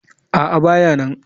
A'a, ba ya nan.